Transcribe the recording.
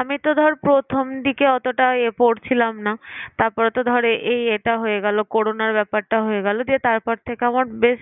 আমি তো ধর প্রথম দিকে অতটা পড়ছিলাম না তারপরে তো ধর এই এটা হয়ে গেল Corona র ব্যাপারটা হয়ে গেল দিয়ে তারপর থেকে আমার বেশ